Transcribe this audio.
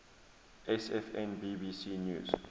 sfn bbc news